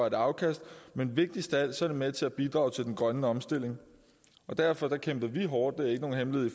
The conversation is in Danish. et afkast men vigtigst af alt er det med til at bidrage til den grønne omstilling derfor kæmpede vi hårdt det er ikke nogen hemmelighed i